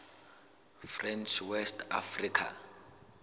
french west africa